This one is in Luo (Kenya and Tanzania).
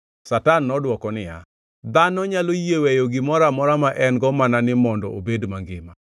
Satan nodwoko niya, “Dhano nyalo yie weyo gimoro amora ma en-go mana ni mondo obed mangima.